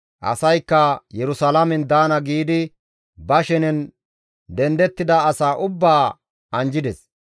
Asaykka, «Yerusalaamen daana» giidi ba shenen dendettida asaa ubbaa anjjides.